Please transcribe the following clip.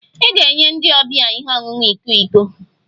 I ga-enye ndi ọbia ihe ọṅụṅụ iko iko